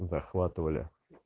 захватывали